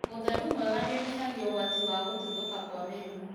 Ũtheru mwega nĩũnyihagia ũgwati wa gũtuthũka kwa mĩrimũ